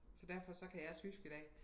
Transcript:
Så derfor så kan jeg tysk i dag